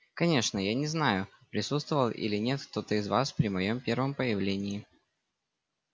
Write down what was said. конечно я не знаю присутствовал или нет кто-то из вас при моём первом появлении